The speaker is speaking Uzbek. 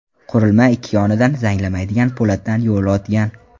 Qurilma ikki yonida zanglamaydigan po‘latdan yo‘l o‘tgan.